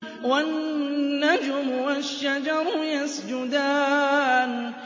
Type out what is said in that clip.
وَالنَّجْمُ وَالشَّجَرُ يَسْجُدَانِ